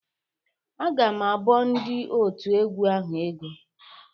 Agam abọọ ndị òtù egwu ahụ ego.